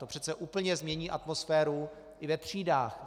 To přece úplně změní i atmosféru ve třídách.